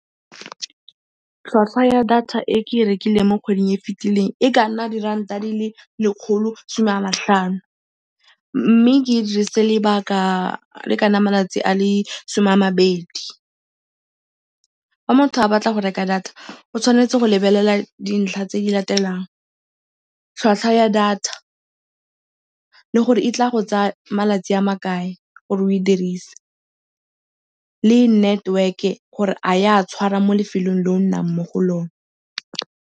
Tlhwatlhwa ya data e ke e rekileng mo kgweding e fitileng e ka nna diranta di le lekgolo some a matlhano mme ke e dirisitse lebaka le ka nna malatsi a le some a mabedi. Fa motho a batla go reka data o tshwanetse go lebelela dintlha tse di latelang, tlhwatlhwa ya data le gore e tla go tsaya malatsi a le makae gore o e dirise le network-e gore a e a tshwara mo lefelong le o nnang mo go lone.